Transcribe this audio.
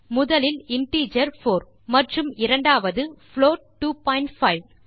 முதலில் இன்டிஜர் 4 மற்றும் இரண்டாவது ஒரு புளோட் 25 2